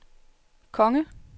konge